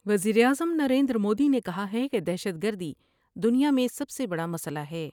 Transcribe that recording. وزیراعظم نریندرمودی نے کہا ہے کہ دہشت گردی دنیا میں سب سے بڑا مسئلہ ہے ۔